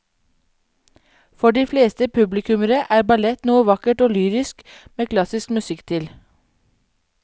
For de fleste publikummere er ballett noe vakkert og lyrisk med klassisk musikk til.